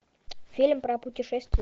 фильм про путешествия